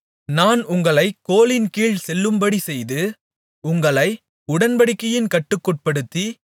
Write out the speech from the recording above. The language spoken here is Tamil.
நான் உங்களைக் கோலின்கீழ் செல்லும்படி செய்து உங்களை உடன்படிக்கையின் கட்டுக்குட்படுத்தி